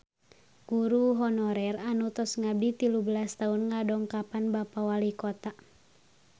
Guru honorer anu tos ngabdi tilu belas tahun ngadongkapan Bapak Walikota